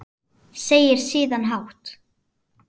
Segir síðan hátt